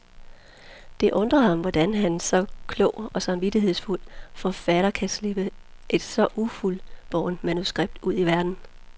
Det undrer ham hvordan en så klog og samvittighedsfuld forfatter kan slippe et så ufuldbårent manuskript ud i verden.